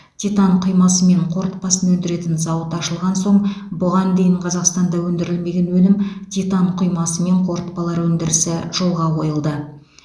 титан құймасы мен қорытпасын өндіретін зауыт ашылған соң бұған дейін қазақстанда өндірілмеген өнім титан құймасы мен қорытпалар өндірісі жолға қойылды